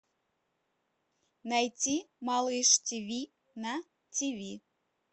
найти малыш тиви на тиви